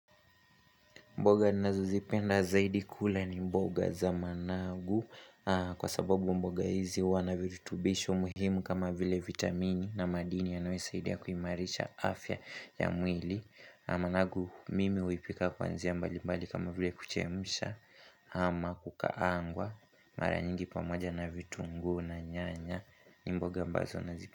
Mboga ninazo zipenda zaidi kula ni mboga za managu kwa sababu mboga hizi huwa na viritubisho muhimu kama vile vitamini na madini yanayo saidia kuimarisha afya ya mwili. Managu mimi huipika kwa njia mbalimbali kama vile kuchemsha ama kukaangwa mara nyingi pamoja na vitungu na nyanya ni mboga ambazo nazi.